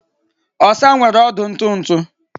Osa nwere ọdụ ntụ ntụ